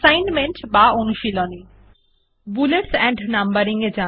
comprehensive assignment bullet এবং number দিন